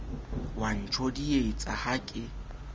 o a ntjodietsa ha ke